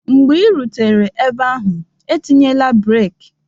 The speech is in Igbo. mgbe ị rutere ebe ahụ, etinyela breek!